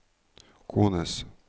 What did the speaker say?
kones